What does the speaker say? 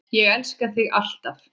Ég elska þig alltaf.